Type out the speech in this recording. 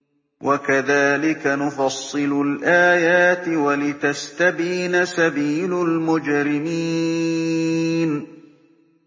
وَكَذَٰلِكَ نُفَصِّلُ الْآيَاتِ وَلِتَسْتَبِينَ سَبِيلُ الْمُجْرِمِينَ